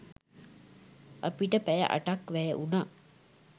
අපිට පැය අටක් වැය වුණා